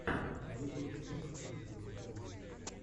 на ютубе ты можешь включить выступления